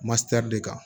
de kan